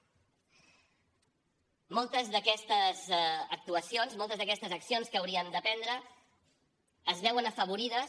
moltes d’aquestes actuacions moltes d’aquestes accions que hauríem de prendre es veuen afavorides